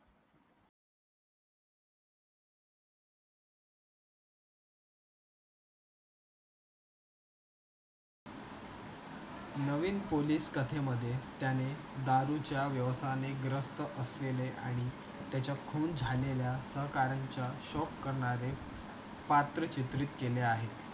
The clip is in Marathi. नवीन पोलीस कथेमध्ये त्याने दारूचा व्यायसायाने ग्रस्त असलेल्या आणि त्याच्या खून झालेल्या सहकाऱ्यांचे शौक करणारे पात्र चित्रित केले आहे